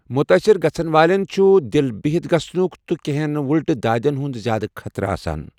مُتٲثِر گَژھن والیٚن چھُ دِل بِہتھ گژھنُك تہٕ کینٛہن وٕلٹہٕ دادیٚن ہُنٛد زیادٕ خطرٕ آسان۔